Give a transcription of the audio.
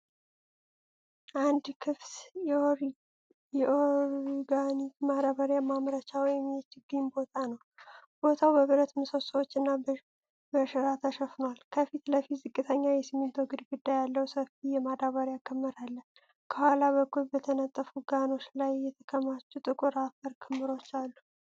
አንድ ክፍት የኦርጋኒክ ማዳበሪያ ማምረቻ ወይም የችግኝ ቦታ ነው። ቦታው በብረት ምሰሶዎችና በሸራ ተሸፍኗል፤ ከፊት ለፊት ዝቅተኛ የሲሚንቶ ግድግዳ ያለው ሰፊ የማዳበሪያ ክምር አለ። ከኋላ በኩል በተነጠፉ ጋኖች ላይ የተከማቹ ጥቁር አፈር ክምሮች አሉ።